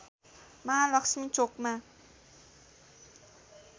महालक्ष्मी चोकमा